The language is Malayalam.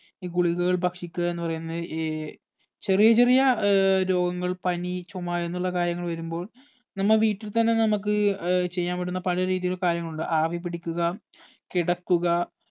ഈ ഗുളികകൾ ഭക്ഷിക്കുക എന്ന് പറയുന്നത് ഏർ ചെറിയ ചെറിയ ഏർ രോഗങ്ങൾ പനി ചുമ എന്നുള്ള കാര്യങ്ങൾ വരുമ്പോൾ നമ്മ വീട്ടിൽ തന്നെ നമ്മക്ക് ഏർ ചെയ്യാൻ പറ്റുന്ന പഴയ രീതിലുള്ള കാര്യമുണ്ട് ആവി പിടിക്കുക കിടക്കുക